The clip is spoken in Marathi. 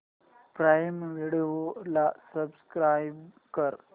प्राईम व्हिडिओ ला सबस्क्राईब कर